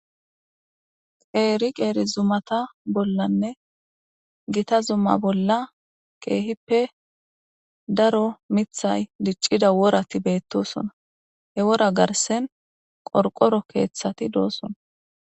Qeeri qeeri zumata bollanne gita zumma bolla keehippe daro mithay diccida worati beettosona he wora garsen qorqoro keeththati doosona